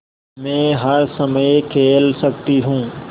मै हर समय खेल सकती हूँ